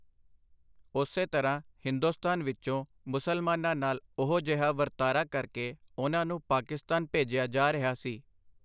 ਉਸੇ ਤਰ੍ਹਾਂ ਹਿੰਦੁਸਤਾਨ ਵਿੱਚੋਂ ਮੁਸਲਮਾਨਾਂ ਨਾਲ ਉਹੋ ਜਿਹਾ ਵਰਤਾਰਾ ਕਰਕੇ ਉਨ੍ਹਾਂ ਨੂੰ ਪਾਕਿਸਤਾਨ ਭੇਜਿਆ ਜਾ ਰਿਹਾ ਸੀ.